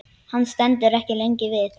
Hann stendur ekki lengi við.